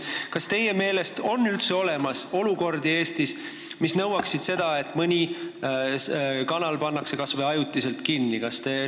Kas teie meelest võib üldse Eestis olla olukordi, mis nõuavad, et mõni kanal pannakse kas või ajutiselt kinni?